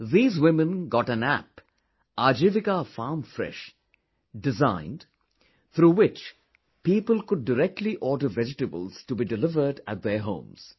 These women got an app 'Ajivika Farm Fresh' designed through which people could directly order vegetables to be delivered at their homes